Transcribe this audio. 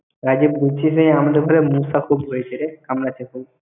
আমাদের ঘরে মশা খুব হয়েছে রে, কামড়াচ্ছে খুব।